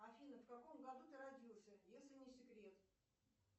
афина в каком году ты родился если не секрет